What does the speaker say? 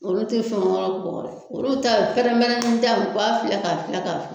Olu ti fɛn wɛrɛ bɔ olu ta ye pɛrɛnpɛrɛnnidaw u b'a filɛ k'a filɛ k'a filɛ